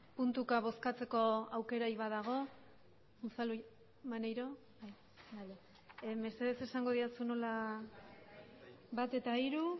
puntuka bozkatzeko aukerarik badago unzalu maneiro bai bale mesedez esango didazu nola bat eta hiru